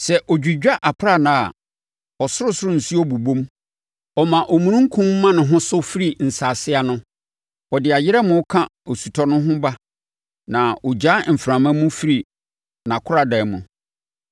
Sɛ ɔdwidwa aprannaa a, ɔsorosoro nsuo bobom; ɔma omununkum ma ne ho so firi nsase ano. Ɔde ayerɛmo ka osutɔ ho ba na ɔgyaa mframa mu firi nʼakoradan mu.